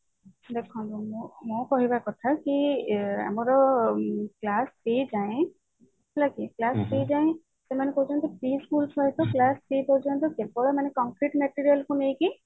ଦେଖନ୍ତୁ ମୋ କହିବା କଥା କି ଆଁ ଆମର class three ଯାଏଁ ହେଲା କି class three ଯାଏଁ ସେମାନେ କହୁଛନ୍ତି କେବଳ complete material କୁ ନେଇକି